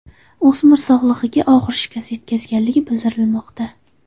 O‘smir sog‘ligiga og‘ir shikast yetkazilgani bildirilmoqda.